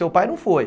Seu pai não foi.